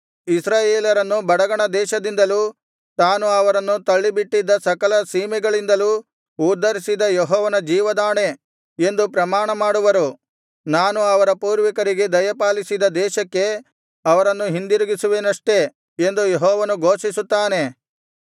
ಇಸ್ರಾಯೇಲರನ್ನು ಬಡಗಣ ದೇಶದಿಂದಲೂ ತಾನು ಅವರನ್ನು ತಳ್ಳಿಬಿಟ್ಟಿದ್ದ ಸಕಲ ಸೀಮೆಗಳಿಂದಲೂ ಉದ್ಧರಿಸಿದ ಯೆಹೋವನ ಜೀವದಾಣೆ ಎಂದು ಪ್ರಮಾಣಮಾಡುವರು ನಾನು ಅವರ ಪೂರ್ವಿಕರಿಗೆ ದಯಪಾಲಿಸಿದ ದೇಶಕ್ಕೆ ಅವರನ್ನು ಹಿಂದಿರುಗಿಸುವೆನಷ್ಟೆ ಎಂದು ಯೆಹೋವನು ಘೋಷಿಸುತ್ತಾನೆ